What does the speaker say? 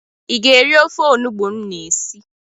Ị ga-eri ofe onubu m na esi?